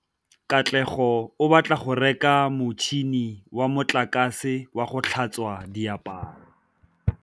Katlego o batla go reka motšhine wa motlakase wa go tlhatswa diaparo.